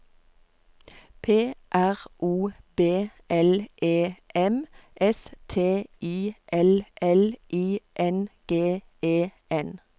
P R O B L E M S T I L L I N G E N